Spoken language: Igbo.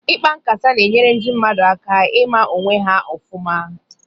Ịkpa nkata na-enyere ndị mmadụ aka ịma onwe ha ofụma